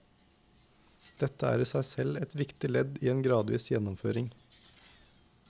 Dette er i seg selv et viktig ledd i en gradvis gjennomføring.